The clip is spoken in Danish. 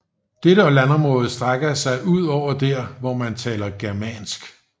Dette landområde strækker sig ud over der hvor man taler germansk